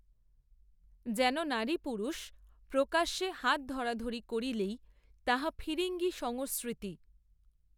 যেন নারীপুরুষ প্রকাশ্যে হাতধরাধরি করিলেই তাহা ফিরিঙ্গি সংসসৃতি